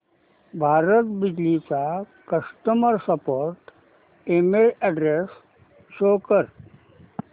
भारत बिजली चा customer support email address show कर